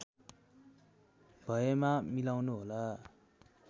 भएमा मिलाउनुहोला